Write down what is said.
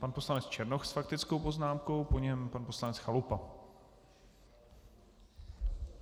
Pan poslanec Černoch s faktickou poznámkou, po něm pan poslanec Chalupa.